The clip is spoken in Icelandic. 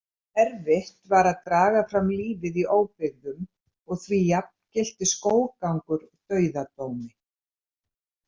Erfitt var að draga fram lífið í óbyggðum og því jafngilti skóggangur dauðadómi.